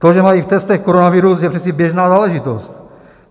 To, že mají v testech koronavirus, je přece běžná záležitost.